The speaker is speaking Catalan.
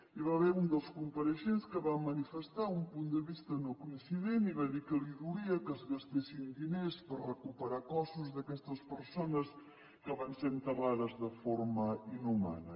hi va haver un dels compareixents que va manifestar un punt de vista nocoincident i va dir que li dolia que es gastessin diners per recuperar cossos d’aquestes persones que van ser enterrades de forma inhumana